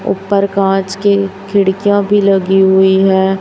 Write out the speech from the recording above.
ऊपर कांच की खिड़कियां भी लगी हुई है।